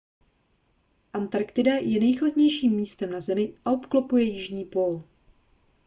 antarktida je nejchladnějším místem na zemi a obklopuje jižní pól